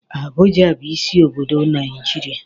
Abuja bụ isi obodo Naijiria.